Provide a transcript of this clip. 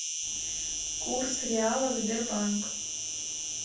курс реала сбербанк